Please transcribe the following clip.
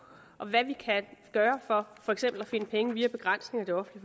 og på hvad vi kan gøre for for eksempel at finde pengene via begrænsninger i